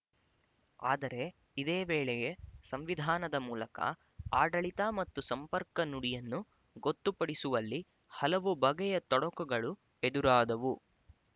ಆದರೆ ಇದೇ ವೇಳೆಗೆ ಸಂವಿಧಾನದ ಮೂಲಕ ಆಡಳಿತ ಮತ್ತು ಸಂಪರ್ಕ ನುಡಿಯನ್ನು ಗೊತ್ತುಪಡಿಸುವಲ್ಲಿ ಹಲವು ಬಗೆಯ ತೊಡಕುಗಳು ಎದುರಾದವು